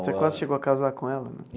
Você quase chegou a casar com ela, né?